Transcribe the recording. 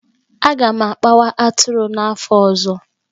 Aga m akpawa atụrụ n'afọ ọzọ.